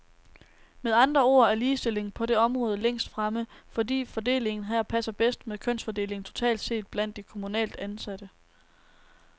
Med andre ord er ligestillingen på det område længst fremme, fordi fordelingen her passer bedst med kønsfordelingen totalt set blandt de kommunalt ansatte.